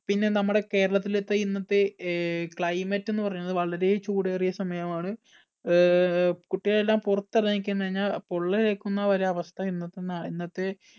പിന്നെ നമ്മുടെ കേരളത്തിലെത്തെ ഇന്നത്തെ അഹ് climate എന്നുപറയുന്നത് വളരെ ചൂടേറിയ സമയമാണ്. അഹ് കുട്ടികളെല്ലാം പുറത്തിറങ്ങി കഴിഞ്ഞാൽ പൊള്ളലേക്കുന്നവരെ അവസ്ഥ ഇന്നത്തെ നാ ഇന്നത്തെ